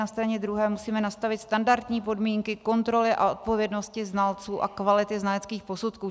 Na straně druhé musíme nastavit standardní podmínky kontroly a odpovědnosti znalců a kvality znaleckých posudků.